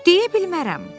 Deyə bilmərəm, o dedi.